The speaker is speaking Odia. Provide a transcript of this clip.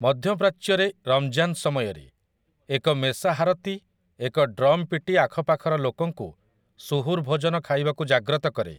ମଧ୍ୟପ୍ରାଚ୍ୟରେ ରମ୍‌ଜାନ୍ ସମୟରେ, ଏକ ମେସାହାରତି ଏକ ଡ୍ରମ୍ ପିଟି ଆଖ ପାଖର ଲୋକଙ୍କୁ ସୁହୁର୍ ଭୋଜନ ଖାଇବାକୁ ଜାଗ୍ରତ କରେ ।